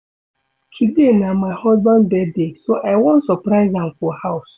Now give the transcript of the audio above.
Today na my husband birthday so I wan surprise am for house